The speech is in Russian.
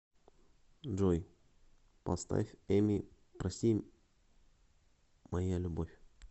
джой поставь эмин прости моя любовь